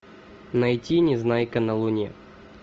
найти незнайка на луне